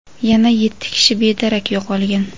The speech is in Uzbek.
yana yetti kishi bedarak yo‘qolgan.